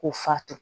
K'u fato